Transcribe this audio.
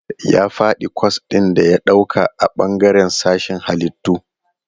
Ya faɗi kwas ɗin da ya ɗauka a bangaren sashen Hallitu..